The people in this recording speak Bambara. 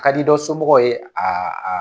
A kadi dɔ somɔgɔw ye a a